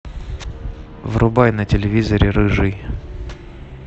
врубай на телевизоре рыжий